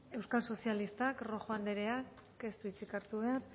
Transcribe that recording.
euskal sozialistak rojo andereak ez du hitzik hartu behar